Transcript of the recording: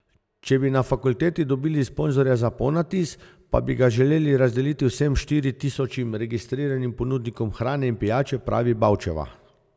Če bi na fakulteti dobili sponzorja za ponatis, pa bi ga želeli razdeliti vsem štiri tisočim registriranim ponudnikom hrane in pijače, pravi Bavčeva.